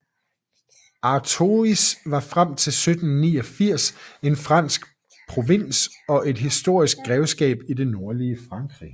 Artois var frem til 1789 en fransk provins og et historisk grevskab i det nordlige Frankrig